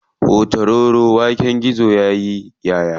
Hutaroro waken gizo yaƙi ƴaʼƴa.